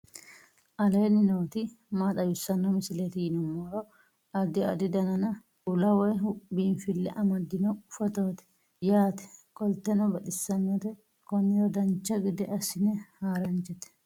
aleenni nooti maa xawisanno misileeti yinummoro addi addi dananna kuula woy biinsille amaddino footooti yaate qoltenno baxissannote konnira dancha gede assine haara danchate